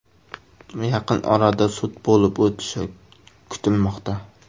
Yaqin orada sud bo‘lib o‘tishi kutilmoqda.